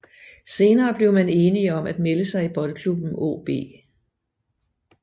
Senere blev man enige om at melde sig i Boldklubben AaB